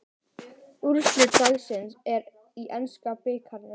Úrslit dagsins í enska bikarnum